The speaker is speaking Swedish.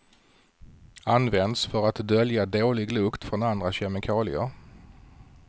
Används för att dölja dålig lukt från andra kemikalier.